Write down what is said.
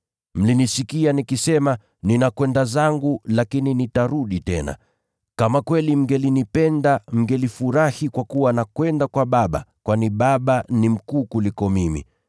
“Mlinisikia nikisema, ‘Ninakwenda zangu, lakini nitarudi tena.’ Kama kweli mngelinipenda mngelifurahi kwa kuwa naenda kwa Baba, kwani Baba ni mkuu kuniliko mimi.